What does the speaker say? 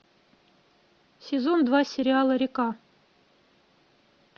сезон два сериала река